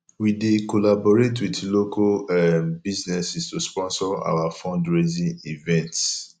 we dey collaborate with local um businesses to sponsor our fundraising events